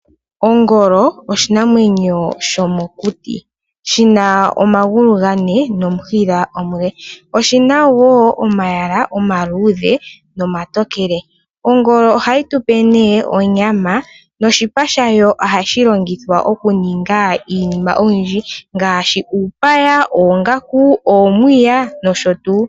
Ongolo oshinamwenyo sho mokuti shi na omagulu ga ne nomushila omule. Oshi na wo omayala omaluudhe nomatokele. Ongolo ohayi tupe nee onyama, noshipa shayo ojashi longithwa okuninga iinima oyindji ngaashi uupaya, oongaku, oomuya nosho tuu.